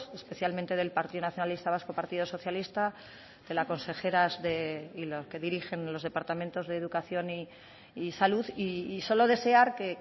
especialmente del partido nacionalista vasco partido socialista de las consejeras de y que dirigen los departamentos de educación y salud y solo desear que